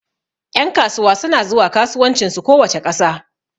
Ƴan kasuwa suna zuwa kasuwancin su kowace ƙasa